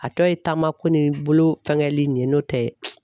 A tɔ ye taamako ni bolo fɛngɛli nin ye n'o tɛ.